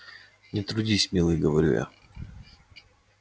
не трудись милый говорю я